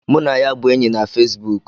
Mụ na ya bụ enyi na Fesibuk